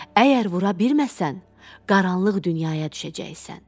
Əgər vura bilməsən, qaranlıq dünyaya düşəcəksən.